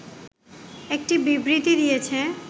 একটি বিবৃতি দিয়েছে